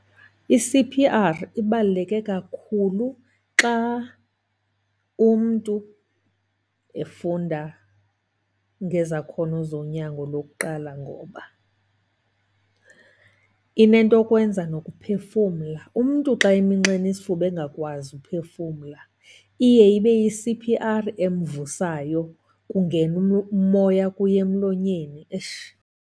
I-C_P_R ibaluleke kakhulu xa umntu efunda ngezakhono zonyango lokuqala, ngoba inentokwenza nokuphefumla. Umntu xa eminxene isifuba engakwazi uphefumla iye ibe yi-C_P_R emvusayo, kungena umoya kuye emlonyeni .